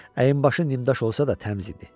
Əyinbaşı nimdaş olsa da təmiz idi.